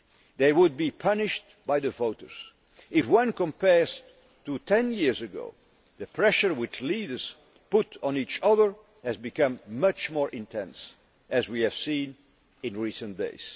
they would be punished by the voters. If one compares this situation with that of ten years ago, the pressure which leaders put on each other has become much more intense, as we have seen in recent